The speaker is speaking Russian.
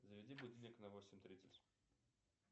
заведи будильник на восемь тридцать